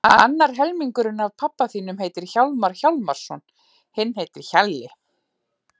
Annar helmingurinn af pabba þínum heitir Hjálmar Hjálmarsson, hinn heitir Hjalli.